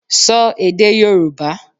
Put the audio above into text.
Sọ èdè Yòrùbá!